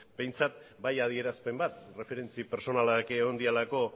behintzat bai adierazpen bat erreferentzia pertsonalak egon direlako